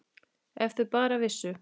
Ef þau bara vissu.